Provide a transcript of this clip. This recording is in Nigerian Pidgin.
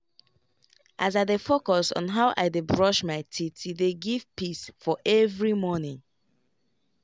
as i dey focus on how i dey brush my teethe dey give peace for every morning.